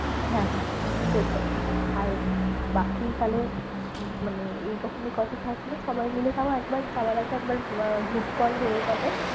হ্যাঁ হ্যাঁ সেটাই আর বাকি তাহলে উম মানে এইরকমই কথা থাকলো। সবাই মিলে তাও একবার যাওয়ার আগে একবার আহ group কল হয়ে যাবে।